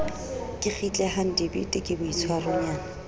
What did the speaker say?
ke kgitlehang dibete ke boitshwaronyana